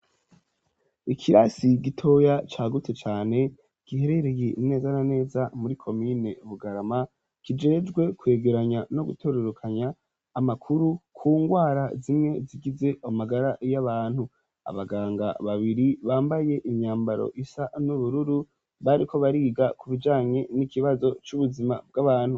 Ikirasi gitoya cya gute cyane giherereye neza na neza muri komine bugarama kijejwe kwegeranya no gutorerukanya amakuru ku ngwara zimwe zigize amagara y'abantu abaganga babiri bambaye imyambaro isa n'ubururu bariko bariga ku bijanye n'ikibazo cy'ubuzima bw'abantu.